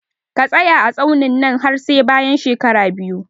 Ka tsaya a tsaunin nan har sai bayan shekara biyu